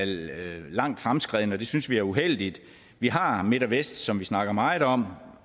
langt fremskreden og det synes vi er uheldigt vi har midt vest som vi snakker meget om